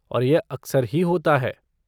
और यह अक्सर ही होता है।